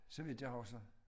Så vidt jeg husker